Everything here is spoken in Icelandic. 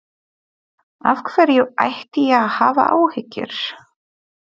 Af hverju ætti ég að hafa áhyggjur?